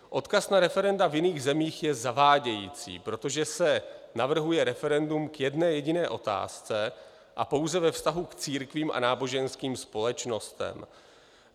Odkaz na referenda v jiných zemích je zavádějící, protože se navrhuje referendum k jedné jediné otázce a pouze ve vztahu k církvím a náboženským společnostem.